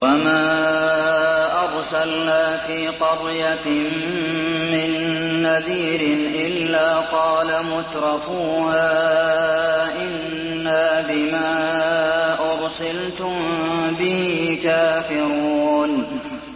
وَمَا أَرْسَلْنَا فِي قَرْيَةٍ مِّن نَّذِيرٍ إِلَّا قَالَ مُتْرَفُوهَا إِنَّا بِمَا أُرْسِلْتُم بِهِ كَافِرُونَ